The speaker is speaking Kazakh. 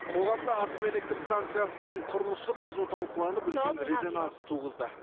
қоғамда атом электростанциясының құрылысы қызу талқыланып үлкен резонанс туғызды